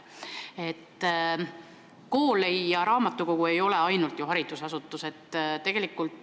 Kool ja raamatukogu ei ole ju ainult haridusasutused.